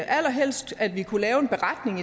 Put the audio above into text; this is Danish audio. allerhelst at vi kunne lave en beretning